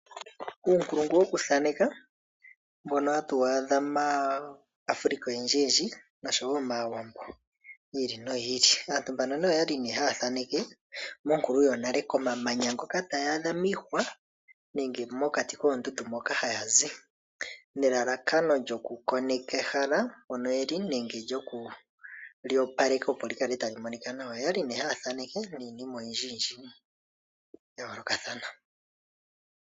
Uunkulungu woku thaneka mbono hatu adha mAfrika oyendji oshowo mAawambo yi ili noyi ili, aantu mbano okwali ne haya thaneke monkulu yonale komamanya ngoka taya adha miihwa nenge mokati koondundu moka haya zi, nelalakano lyoku koneka ehala mpono yeli nenge lyokuli opaleka opo likale tali monika nawa. Oyali ne haya thaneke niinima oyindji ya yolokathana.